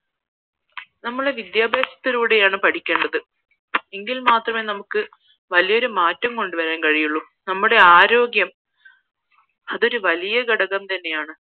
വിദ്യാഭ്യാസത്തിലൂടെയാണ് പഠിക്കേണ്ടത് എങ്കിൽ മാത്രമേ നമുക്ക് വലിയൊരു മാറ്റം കൊണ്ട് വാറന് കഴിയുകയുള്ളൂ നമ്മടെ ആരോഗ്യം അതൊരു വലിയ ഘടകം തന്നെയാണ്